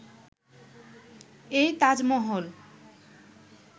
এই তাজমহল